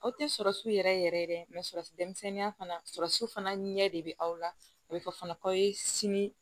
Aw tɛ sɔrɔsi yɛrɛ yɛrɛ sɔrɔ denmisɛnninya fana sɔrɔsu fana ɲɛ de bɛ aw la a bɛ fɔ fana k'aw ye sini